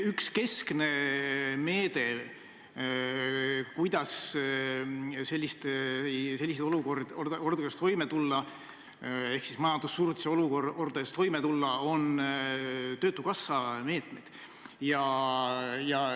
Üks keskne abinõu, kuidas sellises olukorras ehk siis majandussurutise olukorras toime tulla, on töötukassa meetmed.